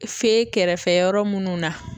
Fe kɛrɛfɛ yɔrɔ munnu na.